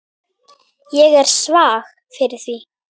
Ég er svag fyrir því.